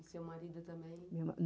E seu marido também?